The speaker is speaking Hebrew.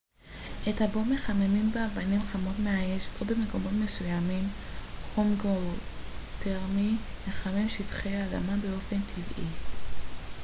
את הבור מחממים באבנים חמות מהאש או במקומות מסוימים חום גאותרמי מחמם שטחי אדמה באופן טבעי